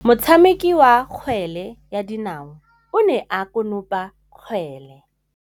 Motshameki wa kgwele ya dinaô o ne a konopa kgwele.